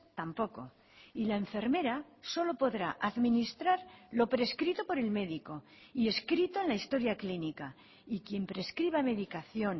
tampoco y la enfermera solo podrá administrar lo prescrito por el médico y escrito en la historia clínica y quien prescriba medicación